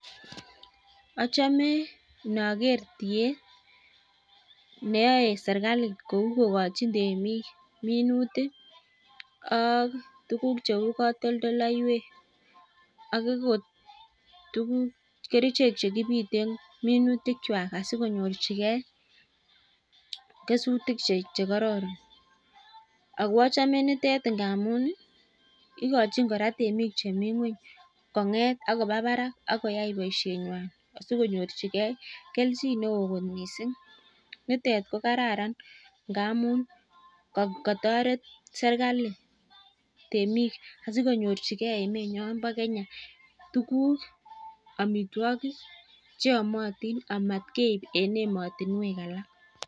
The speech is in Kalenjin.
Achome inoker tiet, neyoe serkalit kou kogchin tmek minutik ak tuguk cheu katoltoleiwek ak ogot kerichek che kibiten minutik kwak asikonyorchige kesuitik che kororon ago achome nitet ngamun, igochin kora temik che mi ngweny kong'et ak koba barak ak koyai boiseinywan asikonyorjige kelchin neo kot miising. Nitet ko kararan ngamun kotoret serkalit temik asikonyorchige emenyon bo Kenya tuguk amitwogik che yomotin amatkeib en emotinwek alak.